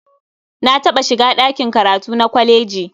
Na taɓa shiga ɗakin karatu na kwaleji.